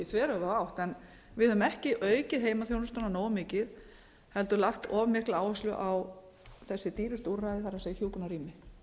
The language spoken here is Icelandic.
þveröfuga átt en vi höfum ekki aukið heimaþjónustuna nógu mikið heldur lagt of mikla áherslu á þessi dýrustu úrræði það er hjúkrunarrými